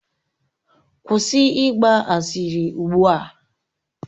Kwụsị ịgba asịrị ugbu a!